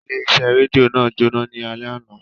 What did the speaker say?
Ile ise redio naa jona lale ana.